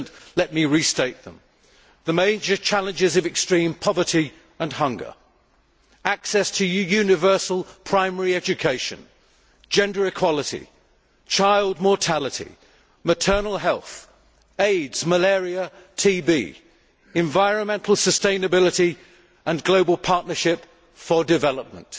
Let me restate them the major challenges are extreme poverty and hunger, access to universal primary education, gender equality, child mortality, maternal health, AIDS, malaria and TB, environmental sustainability and global partnership for development